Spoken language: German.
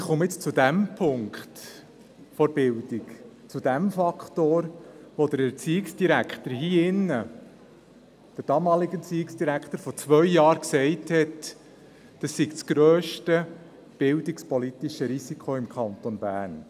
Ich komme jetzt zu diesem Punkt der Bildung, zu diesem Faktor, von dem der damalige Erziehungsdirektor vor zwei Jahren sagte, es sei das grösste bildungspolitische Risiko im Kanton Bern.